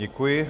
Děkuji.